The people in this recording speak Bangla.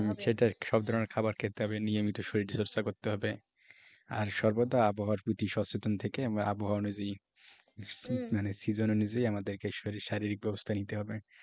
সেটাই সব ধরনের খাবার খেতে হবে নিয়মিত শরীর চর্চা করতে হবে আর সর্বদা আবহাওয়ার প্রতি সচেতন থেকে আমরা আবহাওয়া অনুযায়ী মানে season অনুযায়ী আমাদেরকে শরীর শারীরিক ব্যবস্থা নিতে হবে।